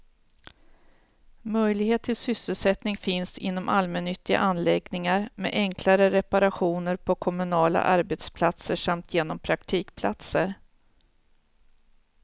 Möjlighet till sysselsättning finns inom allmännyttiga anläggningar, med enklare reparationer på kommunala arbetsplatser samt genom praktikplatser.